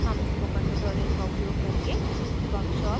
हम spoken tutorial का उपयोग करके वर्कशॉप्स कार्यशालाएँआयोजित करते हैं